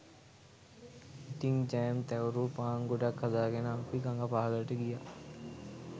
ඉතිං ජෑම් තැවරූ පාන් ගොඩක් හදාගෙන අපි ගඟ පහළට ගියා